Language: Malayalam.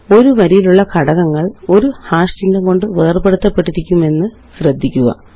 ഒരു വരിയിലുള്ള ഘടകങ്ങള് ഒരു ഹാഷ് ചിഹ്നം കൊണ്ട് വേര്പെടുത്തപ്പെട്ടിരിക്കുമെന്ന് ശ്രദ്ധിക്കുക